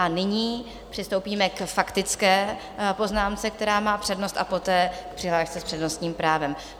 A nyní přistoupíme k faktické poznámce, která má přednost, a poté k přihlášce s přednostním právem.